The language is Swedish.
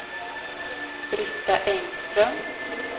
Britta Engström